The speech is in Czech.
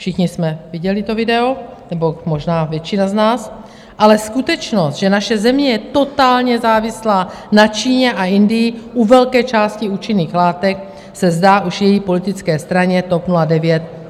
Všichni jsme viděli to video, nebo možná většina z nás, ale skutečnost, že naše země je totálně závislá na Číně a Indii u velké části účinných látek, se zdá už její politické straně TOP 09 tolik nevadí.